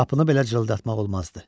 Qapını belə cırıldatmaq olmazdı.